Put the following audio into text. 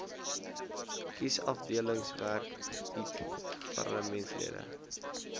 kiesafdelingwerk bied parlementslede